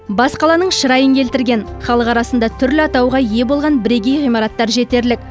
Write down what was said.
бас қаланың шырайын келтірген халық арасында түрлі атауға ие болған бірегей ғимараттар жетерлік